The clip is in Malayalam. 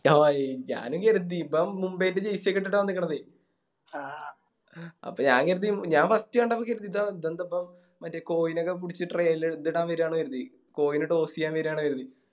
ആ എ ഞാനും കേരുതി ഇവൻ മുംബൈൻറെ Jersey ഒക്കെ ഇട്ടിട്ട് ആ വന്നിക്കിണത് അപ്പൊ ഞാൻ കരുതി ഞാൻ First കണ്ടപ്പോ കരുതി ഇതാ ഇതെന്താപ്പോ മറ്റേ കൊഹ്‌ലിനൊക്കെ പിടിച്ച് ട്രെ മറ്റേ ഇതിടാൻ വേരാണ് കരുതി കോഹ്ലിനെ Toss ചെയ്യാ വരുവാണ് കരുതി